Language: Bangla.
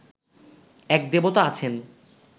এক দেবতা আছেন